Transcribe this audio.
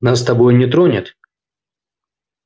нас с тобой он не тронет